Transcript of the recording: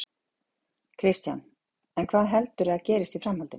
Kristján: En hvað heldurðu að gerist í framhaldinu?